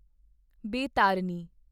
Baitarani